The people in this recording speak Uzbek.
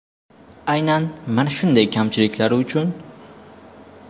Aynan mana shunday kamchiliklari uchun.